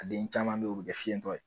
A den caman be ye u be kɛ fiɲɛ dɔ ye